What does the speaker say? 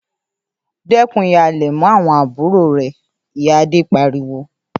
‘Dé̩kun híhalè̩ mó̩ àwo̩n àbúrò re̩!’, iya Ade pariwo